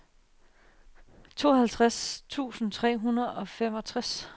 tooghalvtreds tusind tre hundrede og femogtres